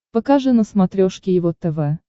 покажи на смотрешке его тв